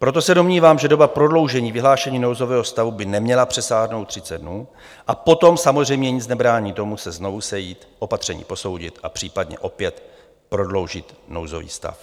Proto se domnívám, že doba prodloužení vyhlášení nouzového stavu by neměla přesáhnout 30 dnů, a potom samozřejmě nic nebrání tomu se znovu sejít, opatření posoudit a případně opět prodloužit nouzový stav.